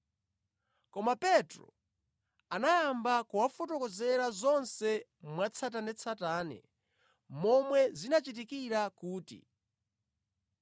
Koma Petro anayamba kuwafotokozera zonse mwatsatanetsatane momwe zinachitikira kuti,